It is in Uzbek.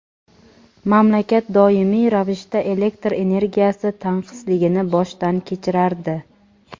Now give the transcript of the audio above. Mamlakat doimiy ravishda elektr energiyasi tanqisligini boshdan kechirardi.